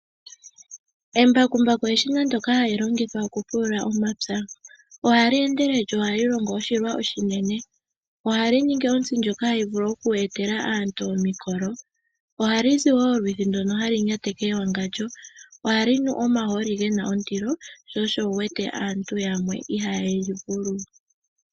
Embakumbaku eshina ndoka hali longithwa okupulula omapya. Ohali endelele lyo ohali longo oshilwa oshinene. Ohali ningi ontsi ndjoka hayi vulu oku etela aantu omikolo. Ohali zi wo olwiithi ndono hali nyateke ewangandjo, ohali nu omahooli gena ondilo sho osho wu wete aantu yamwe ihaaye li vulu.